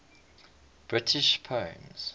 british poems